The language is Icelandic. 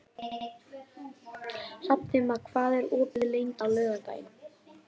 Hrafntinna, hvað er opið lengi á laugardaginn?